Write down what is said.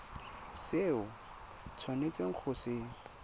se o tshwanetseng go se